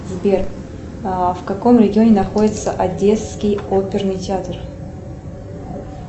сбер в каком регионе находится одесский оперный театр